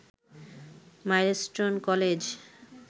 milestone college